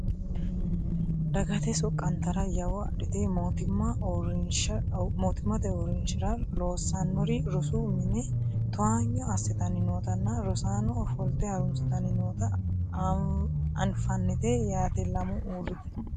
Dagate soqqantara yawo adhite mootimmate uurrinshara loossannori rosu mine towaanyo assitanni nootanna rosaanono ofolte harunsitanni noota anfannite yaate lamu uurrite